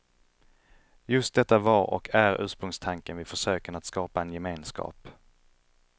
Just detta var och är ursprungstanken vid försöken att skapa en gemenskap.